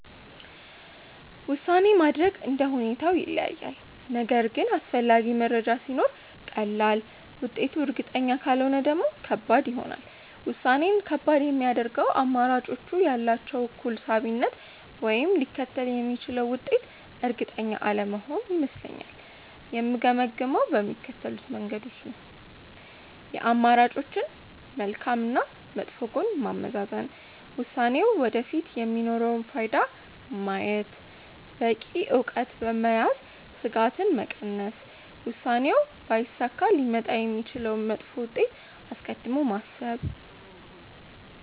ውሳኔ ማድረግ እንደ ሁኔታው ይለያያል፤ ነገር ግን አስፈላጊ መረጃ ሲኖር ቀላል፣ ውጤቱ እርግጠኛ ካልሆነ ደግሞ ከባድ ይሆናል። ውሳኔን ከባድ የሚያደርገው አማራጮቹ ያላቸው እኩል ሳቢነት ወይም ሊከተል የሚችለው ውጤት እርግጠኛ አለመሆን ይመስለኛል። የምገመግመው በሚከተሉት መንገዶች ነው፦ የአማራጮችን መልካም እና መጥፎ ጎን ማመዛዘን፣ ውሳኔው ወደፊት የሚኖረውን ፋይዳ ማየት፣ በቂ እውቀት በመያዝ ስጋትን መቀነስ፣ ውሳኔው ባይሳካ ሊመጣ የሚችለውን መጥፎ ውጤት አስቀድሞ ማሰብ።